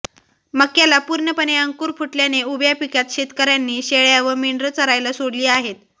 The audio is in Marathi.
मक्याला पूर्णपणे अंकुर फुटल्याने उभ्या पिकात शेतकऱ्यांनी शेळ्या व मेंढरं चरायला सोडली आहेत